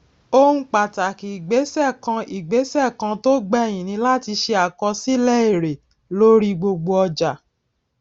ohun pàtàkì ìgbésè kan ìgbésè kan tó gbèyìn ni láti ṣe àkọsílè èrè lórí gbogbo ọjà